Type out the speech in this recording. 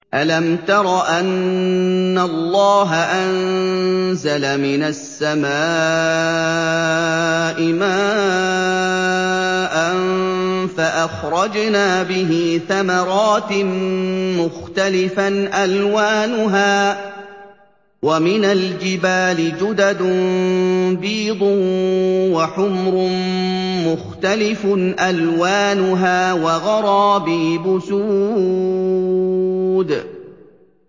أَلَمْ تَرَ أَنَّ اللَّهَ أَنزَلَ مِنَ السَّمَاءِ مَاءً فَأَخْرَجْنَا بِهِ ثَمَرَاتٍ مُّخْتَلِفًا أَلْوَانُهَا ۚ وَمِنَ الْجِبَالِ جُدَدٌ بِيضٌ وَحُمْرٌ مُّخْتَلِفٌ أَلْوَانُهَا وَغَرَابِيبُ سُودٌ